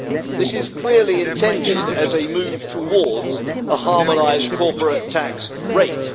This is clearly intended as a move towards a harmonised corporate tax rate.